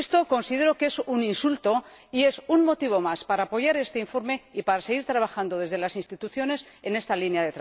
Considero que esto es un insulto y un motivo más para apoyar este informe y para seguir trabajando desde las instituciones en esta línea.